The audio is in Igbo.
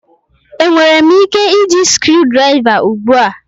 Enwere m ike iji screwdriver ugbu a?